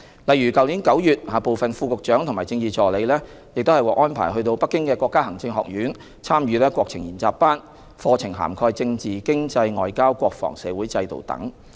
例如去年9月，部分副局長和政治助理獲安排到北京的國家行政學院，參與國情研習班，課題涵蓋政治、經濟、外交、國防、社會制度等。